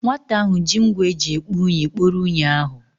Nwata ahụ ji ngwa eji ekpo unyi kporo unyi ahụ.